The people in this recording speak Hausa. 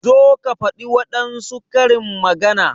Zo ka faɗi wadansu karin magana!